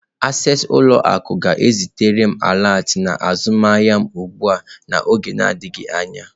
Access ụlọ akụ ga-ezitere m alert na azụmahịa m ugbu a n'oge adịghị anya.